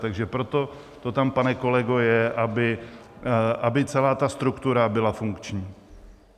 Takže proto to tam, pane kolego, je, aby celá ta struktura byla funkční.